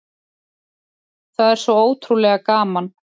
Það er svo ótrúlega gaman